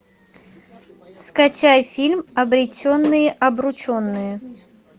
скачай фильм обреченные обрученные